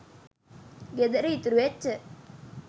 ගෙදර ඉතුරු වෙච්ච